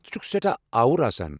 ژٕ چھُکھ سیٹھاہ آوُر آسان۔